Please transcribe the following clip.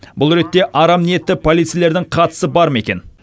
бұл ретте арам ниетті полицейлердің қатысы бар ма екен